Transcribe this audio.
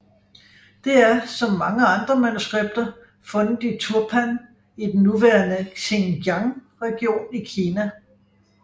Det er som mange andre manuskripter fundet i Turpan i den nuværende Xinjiang region i Kina